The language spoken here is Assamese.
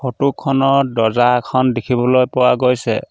ফটো খনত দৰ্জা এখন দেখিবলৈ পোৱা গৈছে।